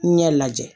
Ɲɛ lajɛ